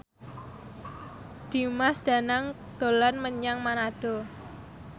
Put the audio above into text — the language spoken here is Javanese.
Dimas Danang dolan menyang Manado